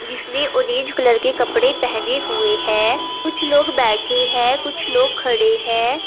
जिसमें orange colour के कपड़े पहने हुए हैं। कुछ लोग बैठे हैं कुछ लोग खड़े हैं।